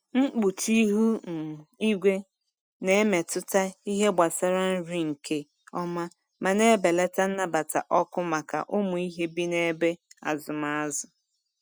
Mkpuchi ihu um igwe na-emetụta ihe gbasara nri nke ọma ma na-ebelata nnabata ọkụ maka ụmụ ihe bi n’ebe azụm azụ.